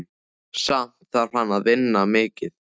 Samt þarf hann að vinna mikið.